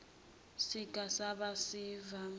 siga ba sivame